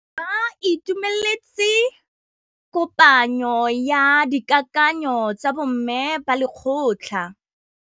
Ba itumeletse kôpanyo ya dikakanyô tsa bo mme ba lekgotla.